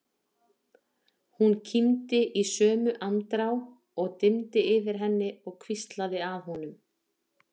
Hún kímdi í sömu andrá og dimmdi yfir henni og hvíslaði að honum